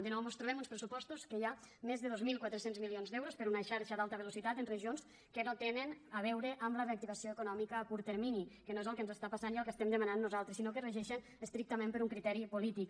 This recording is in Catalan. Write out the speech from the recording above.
de nou mos trobem uns pressupostos en què hi ha més de dos mil quatre cents milions d’euros per a una xarxa d’alta velocitat en regions que no tenen a veure amb la reactivació econòmica a curt termini que no és el que ens està passant i el que estem demanant nosaltres sinó que es regeixen estrictament per un criteri polític